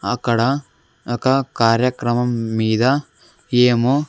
అక్కడ ఒక కార్యక్రమం మీద ఏమో--